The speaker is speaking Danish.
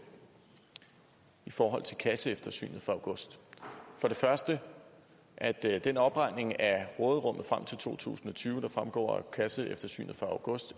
i forhold til kasseeftersynet fra august for det første at den opregning af råderummet frem til to tusind og tyve der fremgår af kasseeftersynet fra august